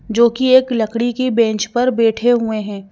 जो कि एक लकड़ी की बेंच पर बैठे हुए हैं।